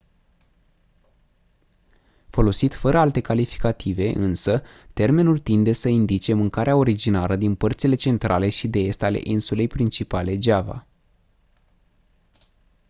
folosit fără alte calificative însă termenul tinde să indice mâncarea originară din părțile centrale și de est ale insulei principale java